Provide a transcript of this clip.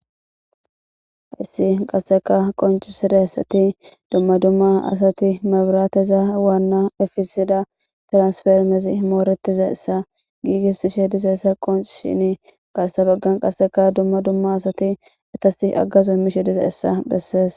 Harsi qasseka qonci siressati dumma dumma asati mabrateza waanna efisida transfermesi mooretiza essa giigissishe diseessa qonch shini gaarsa baggan qasseka dumma dumma asati etasi aggazu mishe dize hessa bessees.